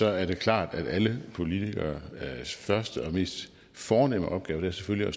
er klart at alle politikeres første og mest fornemme opgave selvfølgelig